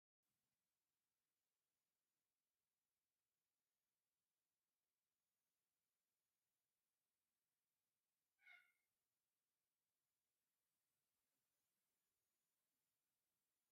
ኣብ ሓደ መንደር ደስ ብዝብል ናይ ሓሪ ዕምበባ ዝተሸለመት ፈረስ ጠጠው ኢላ ትርአ ኣላ፡፡ እዚ ፈረስ መርዓት ንክትወስድ ዝተዳለወት እያ ትመስል፡፡